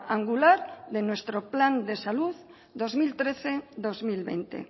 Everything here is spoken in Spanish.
angular de nuestro plan de salud dos mil trece dos mil veinte